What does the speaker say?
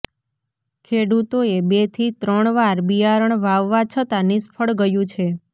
ખેડૂતોએ બેથી ત્રણવાર બિયારણ વાવવા છતાં નિષ્ફળ ગયું છે